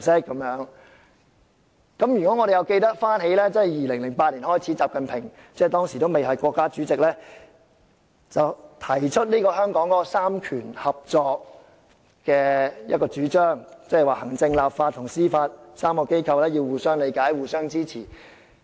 如果我們記得從2008年開始，習近平當時尚未擔任國家主席，便提出香港"三權合作"的主張，即行政、立法及司法3個機構要互相理解、互相支持。